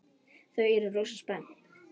Þau eru rosa spennt.